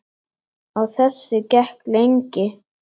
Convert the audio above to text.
Á þessu gekk lengi.